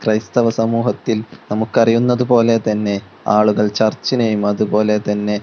ക്രൈസ്തവ സമൂഹത്തിൽ നമുക്ക് അറിയുന്നതുപോലെതന്നെ ആളുകൾ ചർച്ചിനെയും അതുപോലെതന്നെ--